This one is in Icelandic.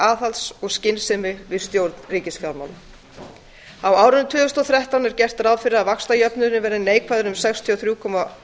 aðhalds og skynsemi við stjórn ríkisfjármála á árinu tvö þúsund og þrettán er gert ráð fyrir að vaxtajöfnuðurinn verði neikvæður um sextíu og þrjú komma